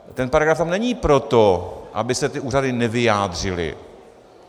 Ten paragraf tam není proto, aby se ty úřady nevyjádřily.